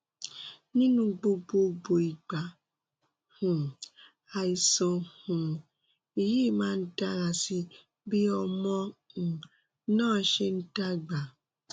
nínú gbogbo gbogbo ìgbà um àìsàn um yìí máa ń dára sí i bí ọmọ um náà ṣe ń dàgbà